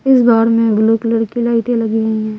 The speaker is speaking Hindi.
इस दौर में ब्लू कलर की लाइट एलगी हुए है।